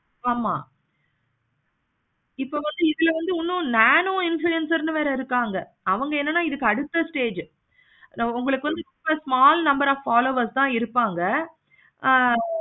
ஆமா இப்போ வந்து இதுல வந்து nano influencer னு ஒருத்தவங்க இருக்காங்க. உங்களுக்கு வந்து small number of followers தான் இருப்பாங்க. ஆஹ்